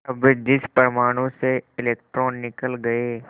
अब जिस परमाणु से इलेक्ट्रॉन निकल गए